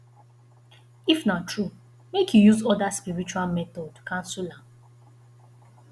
if na true make e use other spiritual method cancel am